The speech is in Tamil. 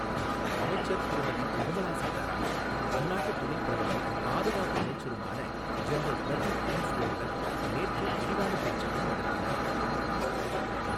அமைச்சர் திருமதி நிர்மலா சீதாராமன் அந்நாட்டு துணைப்பிரதமரும், பாதுகாப்பு அமைச்சருமான ஜென்ரல் பிரதீப் ஊங்ஸ்வோனுடன் நேற்று விரிவான பேச்சுக்கள் நடத்தினார்.